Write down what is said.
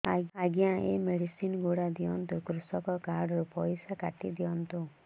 ଆଜ୍ଞା ଏ ମେଡିସିନ ଗୁଡା ଦିଅନ୍ତୁ କୃଷକ କାର୍ଡ ରୁ ପଇସା କାଟିଦିଅନ୍ତୁ